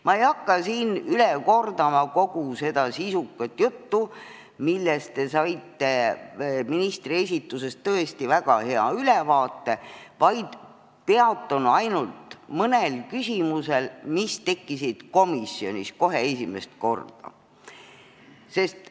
Ma ei hakka üle kordama kogu seda sisukat juttu, millest te saite ministri esitusest tõesti väga hea ülevaate, vaid peatun ainult mõnel küsimusel, mis komisjonis esimest korda tekkisid.